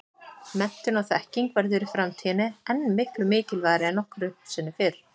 Menntun og þekking verður í framtíðinni enn miklu mikilvægari en nokkru sinni fyrr.